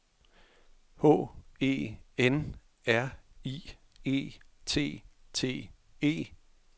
H E N R I E T T E